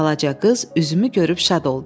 Balaca qız üzümü görüb şad oldu.